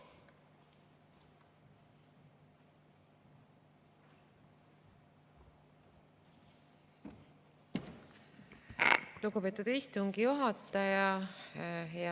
Lugupeetud istungi juhataja!